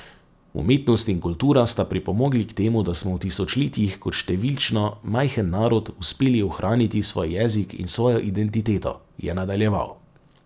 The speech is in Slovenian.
Umetnost in kultura sta pripomogli k temu, da smo v tisočletjih kot številčno majhen narod uspeli ohraniti svoj jezik in svojo identiteto, je nadaljeval.